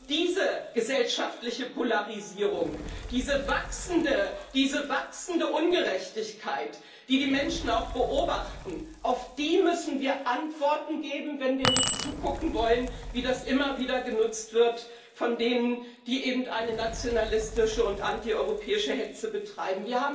Und diese gesellschaftliche Polarisierung, diese wachsende Ungerechtigkeit, die die Menschen auch beobachten, auf die müssen wir Antworten geben, wenn wir nicht zugucken wollen, wie das immer wieder genutzt wird von denen, die eine nationalistische und antieuropäische Hetze betreiben.